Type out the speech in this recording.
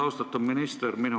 Austatud minister!